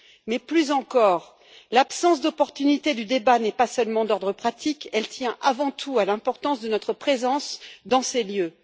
Mais, plus encore, l'absence d'opportunité du débat n'est pas seulement d'ordre pratique, elle tient, avant tout, à l'importance de notre présence dans ces lieux.